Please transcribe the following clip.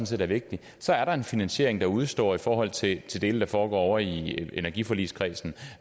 set er vigtigt så er der en finansiering der udestår i forhold til de dele der foregår i energiforligskredsen